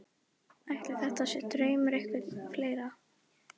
Ætli þetta sé draumur einhverra fleiri?